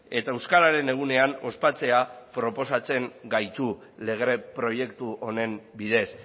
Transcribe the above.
eta euskararen egunean ospatzea proposatzen gaitu lege proiektu honen bidez